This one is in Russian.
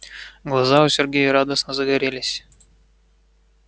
глаза у сергея радостно загорелись